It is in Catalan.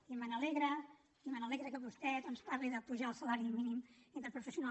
i m’alegra que vostè doncs parli d’apujar el salari mínim interprofessional